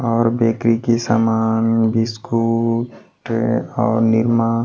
और बेकरी के सामान बिस्कुट और निरमा।